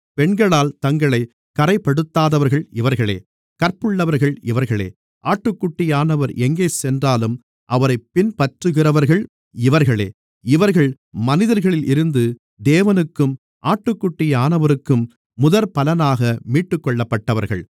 பெண்களால் தங்களைக் கறைப்படுத்தாதவர்கள் இவர்களே கற்புள்ளவர்கள் இவர்களே ஆட்டுக்குட்டியானவர் எங்கே சென்றாலும் அவரைப் பின்பற்றுகிறவர்கள் இவர்களே இவர்கள் மனிதர்களில் இருந்து தேவனுக்கும் ஆட்டுக்குட்டியானவருக்கும் முதற்பலனாக மீட்டுக்கொள்ளப்பட்டவர்கள்